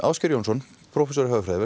Ásgeir Jónsson prófessor í hagfræði